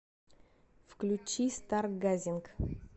включи старгазинг